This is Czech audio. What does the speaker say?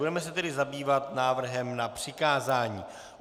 Budeme se tady zabývat návrhem na přikázání.